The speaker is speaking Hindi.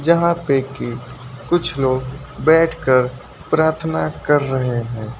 यहाँ पे के कुछ लोग बैठकर प्रार्थना कर रहे हैं।